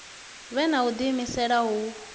vhe na u diimisela hu